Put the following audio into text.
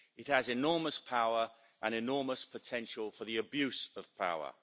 It has enormous power and enormous potential for the abuse of power.